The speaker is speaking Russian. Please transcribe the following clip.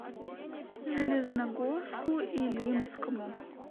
железногорску илимскому